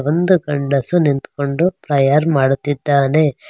ಒಂದು ಗಂಡಸು ನಿಂತ್ಕೊಂಡು ಪ್ರೇಯರ್ ಮಾಡುತ್ತಿದ್ದಾನೆ.